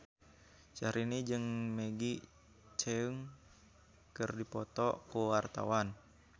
Syahrini jeung Maggie Cheung keur dipoto ku wartawan